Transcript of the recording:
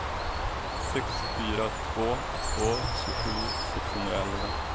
sex fyra två två tjugosju sexhundraelva